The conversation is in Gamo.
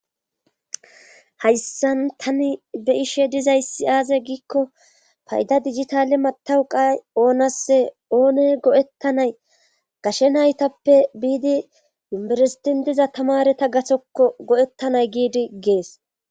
hayssan tani be'ishe dizayssi aaze giikko payda digitale matawu qa oonasse oone go7ettanay gashe naytappe biidi yumberesitin diza tamareta gathokko go7ettanay giidi gees